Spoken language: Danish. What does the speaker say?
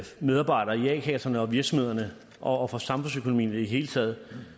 medarbejdere i a kasserne og virksomhederne og for samfundsøkonomien i det hele taget